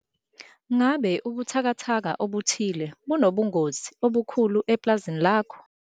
Ngabe ubuthakathaka obuthile bunobungozi obukhulu epulazini lakho?